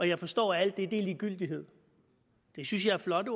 jeg forstår at alt det er ligegyldighed det synes jeg er flotte